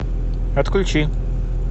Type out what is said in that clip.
отключи